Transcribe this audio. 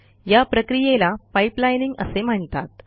या प्रक्रियेला पाइपलाईनिंग असे म्हणतात